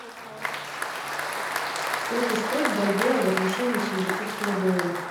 сколько стоит бальбоа в отношении сингапурского доллара